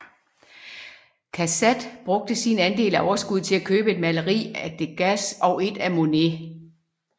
Cassatt brugte sin andel af overskuddet til at købe et maleri af Degas og et af Monet